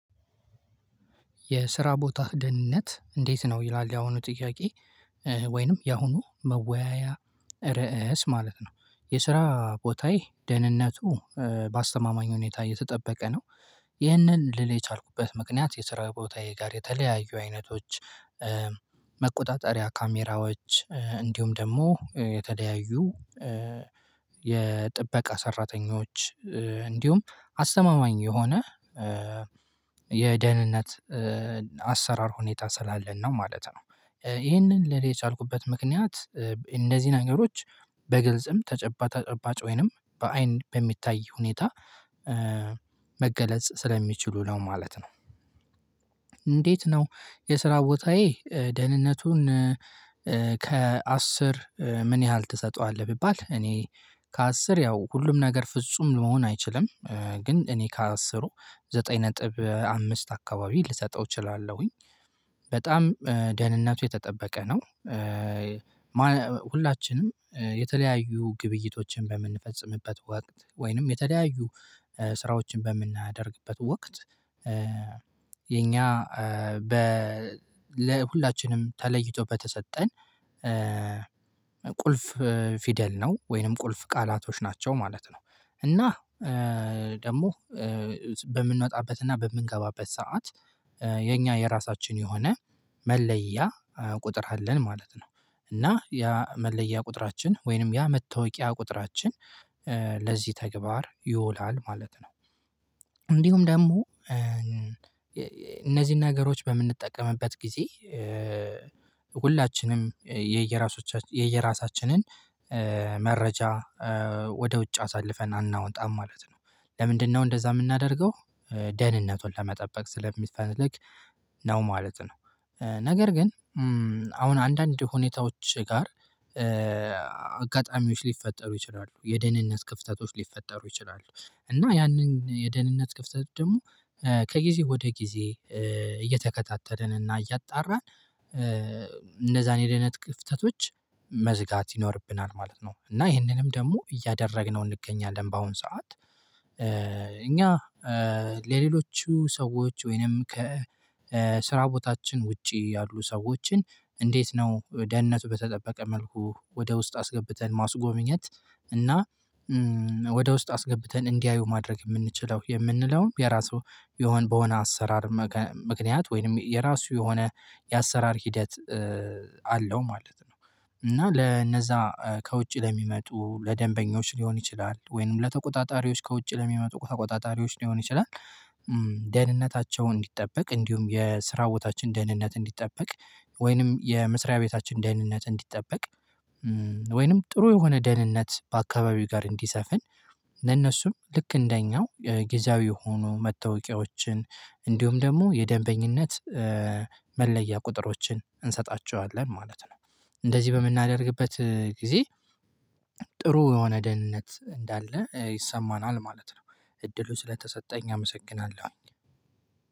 የስራ ቦታ ደህንነት እንዴት ነው? ይላል ያሁኑ ጥያቄ ወይንም ያሁኑ መወያያ ርዕስ ማለት ነው። የስራ ቦታዬ ደህንነቱ በአስተማማኝ ሁኔታ እየተጠበቀ ነው። ይህንን ልል የቻልኩበት ምክንያት የስራ ቦታዬ ጋር የተለያዩ አይነቶች መቆጣጠሪያ ካሜራዎች እንዲሁም ደግሞ የተለያዩ የጥበቃ ሰራተኞች እንዲሁም አስተማማኝ የሆነ የደህንነት አሰራር ሁኔታ ስላለን ነው ማለት ነው። ይሄንን ልል የቻልኩበት ምክንያት እንደዚህ ነገሮች በግልጽም ተጨባጭ ተጨባጭ ወይንም በአይን በሚታይ ሁኔታ መገለጽ ስለሚችሉ ነው ማለት ነው። እንዴት ነው? የስራ ቦታዬ ደህንነቱን ከአስር ምን ያህል ትሰጠዋለህ ቢባል እኔ ከአስር ያው ሁሉም ነገር ፍጹም ለመሆን አይችልም ግን እኔ ከአስሩ ዘጠኝ ነጥብ አምስት አካባቢ ልሰጠው እችላለሁኝ። በጣም ደህንነቱ የተጠበቀ ነው። ሁላችንም የተለያዩ ግብይቶችን በምንፈጽምበት ወቅት ወይንም የተለያዩ ስራዎችን በምናደርግበት ወቅት የኛ በ ለሁላችንም ተለይቶ በተሰጠን ቁልፍ ፊደል ነው ወይንም ቁልፍ ቃላቶች ናቸው ማለት ነው። እና ደግሞ በምንወጣበትና በምንገባበት ሰዓት የኛ የራሳችን የሆነ መለያ ቁጥር አለን ማለት ነው። እና ያ መለያ ቁጥራችን ወይንም ያ መታወቂያ ቁጥራችን ለዚህ ተግባር ይውላል ማለት ነው። እንዲሁም ደግሞ እነዚህን ነገሮች በምንጠቀምበት ጊዜ ሁላችንም የየራሳችንን መረጃ ወደ ውጭ አሳልፈን አናወጣም ማለት ነው። ለምንድነው እንደዛ የምናደርገው ደህንነቱን ለመጠበቅ ስለሚፈልግ ነው ማለት ነው። ነገር ግን አሁን አንዳንድ ሁኔታዎች ጋር አጋጣሚዎች ሊፈጠሩ ይችላሉ የደህንነት ክፍተቶች ሊፈጠሩ ይችላሉ። እና ያንን የደህንነት ክፍተት ደግሞ ከጊዜ ወደ ጊዜ እየተከታተልንና እያጣራን እንደዛን የደህንነት ክፍተቶች መዝጋት ይኖርብናል ማለት ነው። እና ይህንንም ደግሞ እያደረግነው እንገኛለን በአሁን ሰዓት እኛ ለሌሎቹ ሰዎች ወይንም ከ ከስራ ቦታችን ውጪ ያሉ ሰዎችን እንዴት ነው? ደህንነቱ በተጠበቀ መልኩ ወደ ውስጥ አስገብተን ማስጎብኘት እና ወደ ውስጥ አስገብተን እንዲያዩ ማድረግ የምንችለው የምንለውን የራሱ የሆነ በሆነ አሰራር ምክንያት ወይንም የራሱ የሆነ የአሰራር ሂደት አለው ማለት ነው። እና ለነዛ ከውጪ ለሚመጡ ለደንበኞች ሊሆን ይችላል ወይንም ለተቆጣጣሪዎች ከውጪ ለሚመጡ ተቆጣጣሪዎች ሊሆን ይችላል። ደህንነታቸው እንዲጠበቅ እንዲሁም የስራ ቦታችን ደህንነት እንዲጠበቅ ወይንም የመስሪያ ቤታችን ደህንነት እንዲጠበቅ ወይንም ጥሩ የሆነ ደህንነት በአካባቢው ጋር እንዲሰፍን ለነሱም ልክ እንደኛው ጊዜያዊ የሆኑ መታወቂያዎችን እንዲሁም ደግሞ የደንበኝነት መለያ ቁጥሮችን እንሰጣቸዋለን ማለት ነው። እንደዚህ በምናደርግበት ጊዜ ጥሩ የሆነ ደህንነት እንዳለ ይሰማናል ማለት ነው። እድሉ ስለተሰጠኝ አመሰግናለሁ።